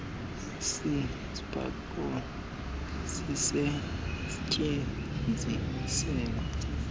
si speculum sisestyenziselwa